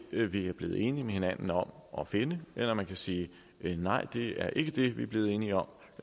vi er blevet enige med hinanden om at finde eller man kan sige nej det er ikke det vi er blevet enige om